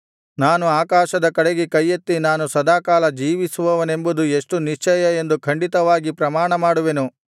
ನಾನು ಆಕಾಶದ ಕಡೆಗೆ ಕೈಯೆತ್ತಿ ನಾನು ಸದಾಕಾಲ ಜೀವಿಸುವವನೆಂಬುದು ಎಷ್ಟು ನಿಶ್ಚಯ ಎಂದು ಖಂಡಿತವಾಗಿ ಪ್ರಮಾಣಮಾಡುವೆನು